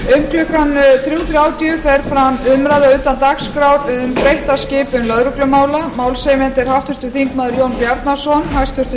um klukkan þrjú þrjátíu fer fram umræða utan dagskrár um breytta skipan lögreglumála málshefjandi er háttvirtur þingmaður jón bjarnason hæstvirtur